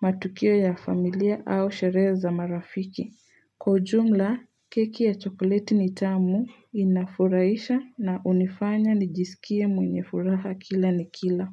matukio ya familia au sherehe za marafiki. Kwa ujumla, keki ya chokoleti ni tamu inafurahisha na hunifanya nijisikie mwenye furaha kila nikila.